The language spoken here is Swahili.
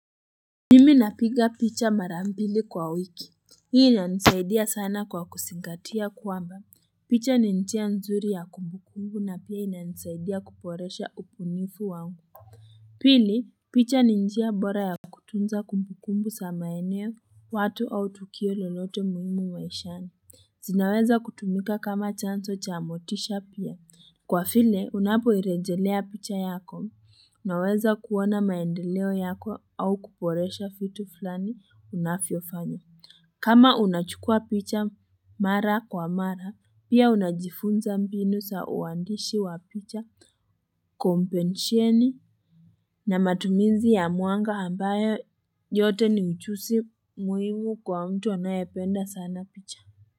Mimi napiga picha mara mbili kwa wiki, hii inanisaidia sana kwa kuzingatia kwamba, picha ni njia nzuri ya kumbukumbu na pia ina nisaidia kuboresha ubunifu wangu. Pili, picha ni njia bora ya kutunza kumbukumbu sana eneo, watu au tukio lolote muhimu maishani, zinaweza kutumika kama chanzo cha motisha pia. Kwa vile unapoirejelea picha yako unaweza kuona maendeleo yako au kuboresha vitu fulani unavyofanya. Kama unachukua picha mara kwa mara pia unajifunza mbinu za uandishi wa picha kompenshieni na matumizi ya mwanga ambayo yote ni mchuuzi muhimu kwa mtu anayependa sana picha.